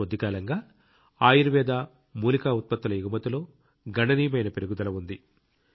గత కొద్దికాలంగా ఆయుర్వేద మూలికా ఉత్పత్తుల ఎగుమతిలో గణనీయమైన పెరుగుదల ఉంది